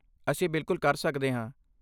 ਅਸੀਂ ਬਿਲਕੁਲ ਕਰ ਸਕਦੇ ਹਾਂ।